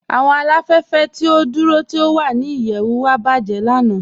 Awọn aláfẹ̀fẹ̀ ti o dúró tí o wà ní ìyẹ̀wù wa bajẹ̀ lànà.